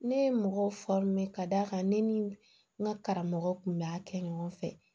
Ne ye mɔgɔw ka d'a kan ne ni n ka karamɔgɔw tun bɛ a kɛ ɲɔgɔn fɛ